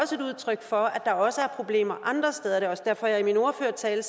udtryk for at der også er problemer andre steder det er også derfor at jeg i min ordførertale